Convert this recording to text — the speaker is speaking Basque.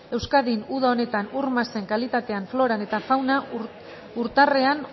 euskadin uda honetan ur masen kalitatean floran eta fauna urtarrean